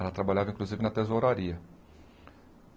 Ela trabalhava, inclusive, na tesouraria.